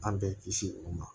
An bɛ kisi o ma